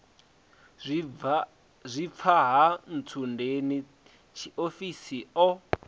zwifha ha ntsundeni tshiofhiso o